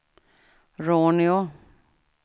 Råneå